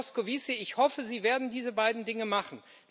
Herr Moscovici, ich hoffe, Sie werden diese beiden Dinge machen.